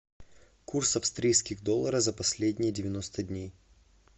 курс австрийских доллара за последние девяносто дней